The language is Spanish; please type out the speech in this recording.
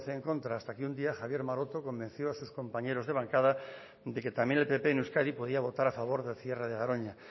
once en contra hasta que un día javier maroto convenció a sus compañeros de bancada que también el pp en euskadi podía votar a favor del cierre de garoña